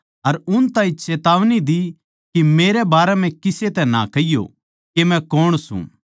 अर उन ताहीं चेतावनी दी के मेरै बारै म्ह किसे तै ना कहियो के मै कौन सूं